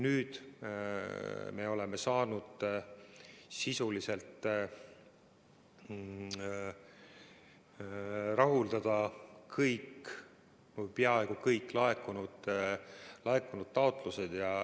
Nüüd me oleme saanud sisuliselt rahuldada kõik või peaaegu kõik laekunud taotlused.